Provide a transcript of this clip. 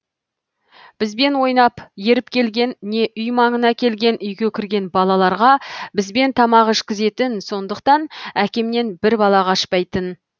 бізбен ойнап еріп келген не үй маңына келген үйге кірген балаларға бізбен тамақ ішкізетін сондықтан әкемнен бір бала қашпайтын